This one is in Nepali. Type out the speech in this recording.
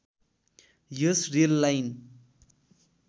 yes rail line